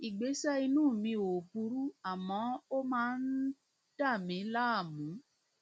ìgbésẹ inú mi ò burú àmọ ó máa ń dà mí láàmú